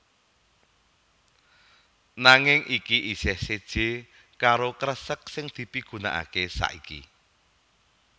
Nanging iki isih séjé karo kresek sing dipigunakaké saiki